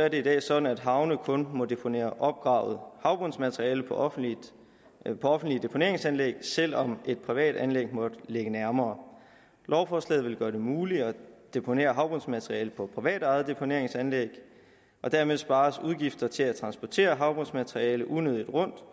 er det i dag sådan at havne kun må deponere opgravet havbundsmateriale på offentlige offentlige deponeringsanlæg selv om et privat anlæg måtte ligge nærmere lovforslaget vil gøre det muligt at deponere havbundsmateriale på privatejede deponeringsanlæg og dermed spares udgifter til at transportere havbundsmateriale unødigt rundt